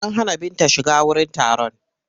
An hana Binta shiga wurin taron.